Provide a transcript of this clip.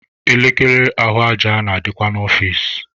Elekere ahụ aja na-adịkwa n'ọfici.